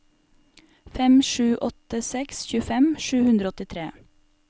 fem sju åtte seks tjuefem sju hundre og åttitre